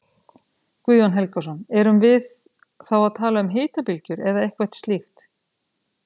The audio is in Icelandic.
Guðjón Helgason: Erum við þá að tala um hitabylgjur eða eitthvað slíkt?